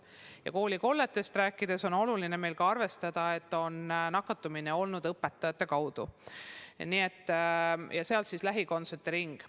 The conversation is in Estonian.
Ja koolikollete puhul on oluline ka arvestada, et nakatumine on olnud õpetajate kaudu – sealt siis lähikondsete ring.